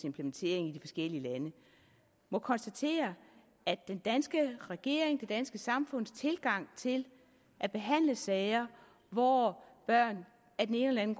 implementering i de forskellige lande må konstatere at den danske regerings det danske samfunds tilgang til at behandle sager hvor børn af den ene eller den